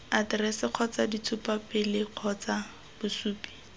aterese kgotsa ditshupapele kgotsa bosupi